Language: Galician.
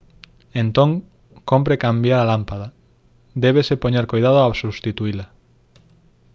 entón cómpre cambiar a lámpada débese poñer coidado ao substituíla